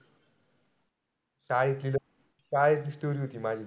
शाळेची story होती माझी.